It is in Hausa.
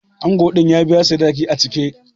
Ango din ya biya sadaki a cike.